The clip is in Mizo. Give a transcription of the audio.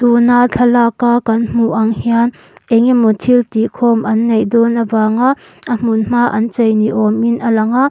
tuna thlalak a kan hmuh ang hian engemaw thil tih khawm an neih dawn avanga a hmun hma an chei ni awm in a lang a.